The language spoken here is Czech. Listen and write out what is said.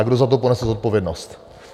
A kdo za to ponese zodpovědnost?